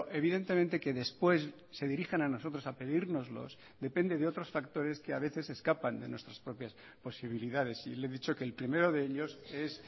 evidentemente que después se dirijan a nosotros a pedírnoslos depende de otros factores que a veces escapan de nuestras propias posibilidades y le he dicho que el primero de ellos es